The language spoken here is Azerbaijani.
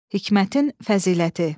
Hikmətin fəziləti.